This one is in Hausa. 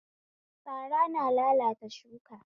Fara na lalata shuka